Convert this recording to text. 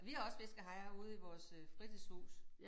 Vi har også fiskehejrer ude i vores øh fritidshus